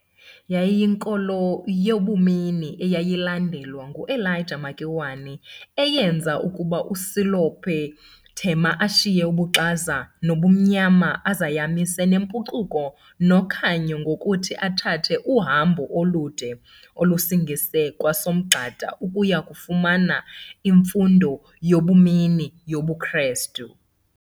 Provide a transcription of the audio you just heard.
Yayiyinkolo yabumini eyayilandelwa nguElijah Makiwane eyenza ukuba uSelope Thema ashiye 'ubuxaza' 'nobumnyama'azayamanise 'nempucuko' 'nokhanyo' ngokuthi athathe uhambo olude olusingise kwaSomgxada ukuya kufumana imfundo yabumini yobuKrestu.